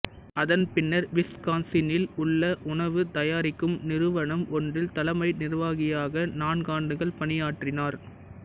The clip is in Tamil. அதன்பின்னர் விஸ்கான்சினில் உள்ள உணவு தயாரிக்கும் நிறுவனம் ஒன்றில் தலைமை நிர்வாகியாக நான்காண்டுகள் பணியாற்றினார்